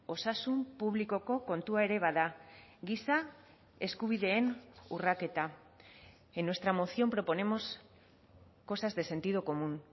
osasun publikoko kontua ere bada giza eskubideen urraketa en nuestra moción proponemos cosas de sentido común